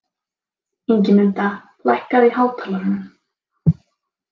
Ingimunda, lækkaðu í hátalaranum.